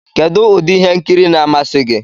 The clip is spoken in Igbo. Kedụ ụdị ihe nkiri na-amasị gị?